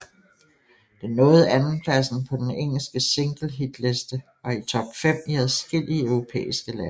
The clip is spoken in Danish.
Den nåede andenpladsen på den engelske singlehitliste og i top fem i adskillige europæiske lande